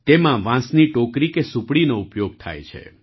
તેમાં વાંસની ટોકરી કે સુપડીનો ઉપયોગ થાય છે